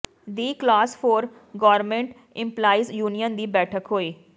ਦੀ class four government employees union ਦੀ ਬੈਠਕ ਹੋਈ